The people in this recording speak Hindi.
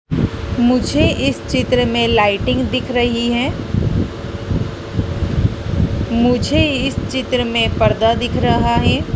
मुझे इस चित्र में लाइटिंग दिख रही है मुझे इस चित्र में पर्दा दिख रहा है।